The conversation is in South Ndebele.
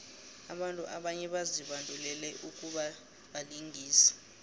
abantu abanye bazibandulele ukubabalingisi